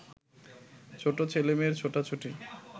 ছোট ছেলেমেয়ের ছুটাছুটি